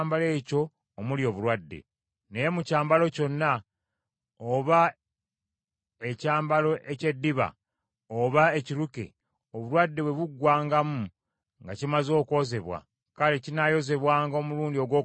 Naye mu kyambalo kyonna, oba ekyambalo eky’eddiba oba ekiruke, obulwadde bwe buggwangamu nga kimaze okwozebwa, kale kinaayozebwanga omulundi ogwokubiri, ne kiba kirongoofu.”